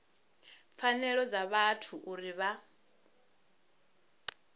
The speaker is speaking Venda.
pfanelo dza vhathu uri vha